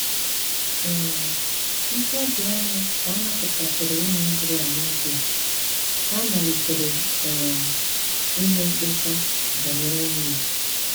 um Ntabi anya ka a napụtasịrị ụmụ Izrel n’Ijipt, ha malitere um ime mkpesa banyere nri.